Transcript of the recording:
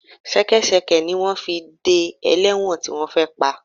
Ṣẹkẹ́ṣẹkẹ̀ ni wọ́n fi dé ẹlẹ́wọ̀n tí wọ́n fẹ́ pa